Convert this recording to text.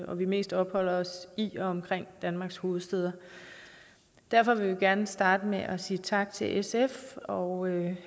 og mest opholder os i og omkring danmarks hovedstad derfor vil jeg gerne starte med at sige tak til sf og